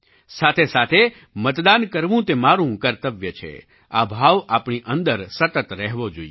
સાથેસાથે મતદાન કરવું તે મારું કર્તવ્ય છે આ ભાવ આપણી અંદર સતત રહેવો જોઈએ